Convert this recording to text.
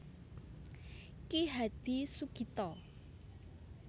Ki Hadi Sugito